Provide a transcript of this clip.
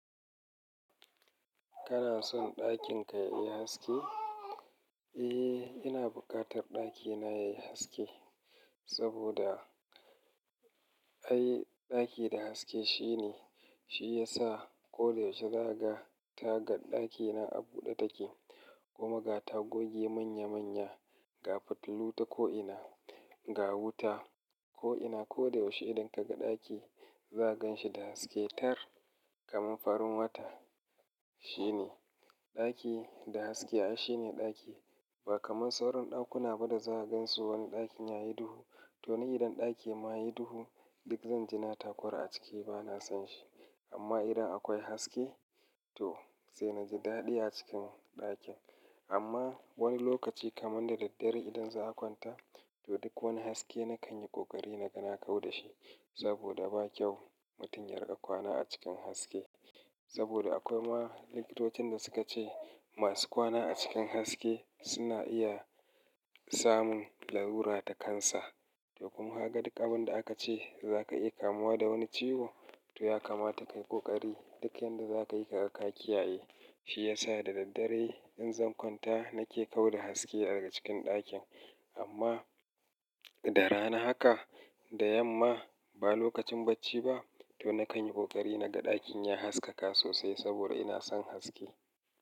Kana son ɗakin ka yayi haske? Eh, ina buƙatar ɗakina yayi haske, saboda ai ɗaki da haske shine, shi yasa ko da yaushe zaga ka ɗakina a buɗe take kuma ga ta goge manya-manya, ga fitilu ta ko'ina, ga wuta ko'ina. Ko da yaushe idan ka ga ɗaki zaka gan shi da haske tar, kaman farin wata. Shine. Ɗaki da haske ai shine ɗaki. Ba kaman sauran ɗakuna ba da zaka gan su wani ɗakin yayi duhu. To ni idan ɗaki ma yi duhu, duk zan ji na takura a ciki bana son shi. Amma idan akwai haske, to sai na ji daɗi a cikin ɗakin. Amma wani lokaci kaman da daddare idan za a kwanta, to duk wani haske na kanyi ƙoƙari na ga na kau da shi. Saboda ba kyau mutum ya riƙa kwana a cikin haske. Saboda akwai ma likitotin da suka ce masu kwana a cikin haske suna iya samun larura ta kansa. To kuma haka duk abin da aka ce za ka iya kamuwa da wani ciwo, to ya kamata kayi ƙoƙari duk yanda za ka iya ka ƙaƙiyaye Shi ya sa da daddare in zan kwanta na ke tau da haske a cikin ɗakin. Amma da rana haka da yamma ba lokacin bacci ba, to na kanyi ƙoƙari na ga ɗakin ya haskaka sosai saboda ina son haske.